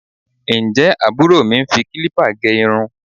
Ǹjẹ́ àbúrò mi ń fi kílípà gẹ irun?